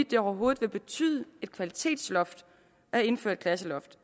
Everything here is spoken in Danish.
det overhovedet vil betyde et kvalitetsløft at indføre et klasseloft